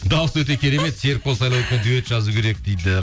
дауысы өте керемет серікбол дуэт жазу керек дейді